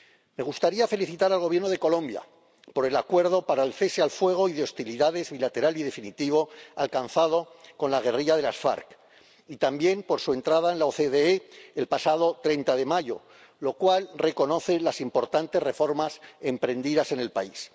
Me gustaría felicitar al Gobierno de Colombia por el acuerdo para el cese al fuego y de hostilidades bilateral y definitivo alcanzado con la guerrilla de las FARC, y también por su entrada en la OCDE el pasado 30 de mayo, lo cual reconoce las importantes reformas emprendidas en el país.